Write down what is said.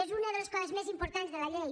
és una de les coses més importants de la llei